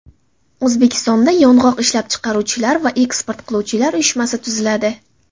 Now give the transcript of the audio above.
O‘zbekistonda Yong‘oq ishlab chiqaruvchilar va eksport qiluvchilar uyushmasi tuziladi.